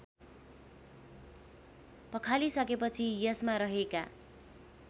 पखालिसकेपछि यसमा रहेका